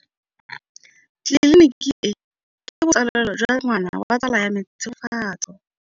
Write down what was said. Tleliniki e, ke botsalêlô jwa ngwana wa tsala ya me Tshegofatso.